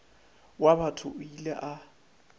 wa batho o ile a